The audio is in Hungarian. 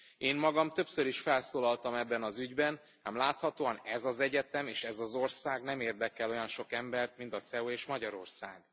Én magam többször is felszólaltam ebben az ügyben, ám láthatóan ez az egyetem és ez az ország nem érdekel olyan sok embert, mint a CEU és Magyarország.